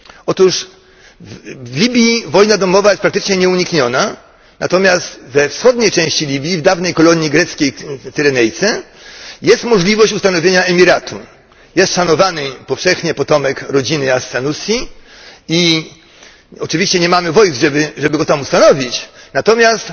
Otóż w Libii wojna domowa jest praktycznie nieunikniona, natomiast we wschodniej części Libii, w dawnej kolonii greckiej Cyrenajce, jest możliwość utworzenia emiratu. Jest szanowany powszechnie potomek rodziny as Sanusi i oczywiście nie mamy wojów, żeby go tam ustanowić, natomiast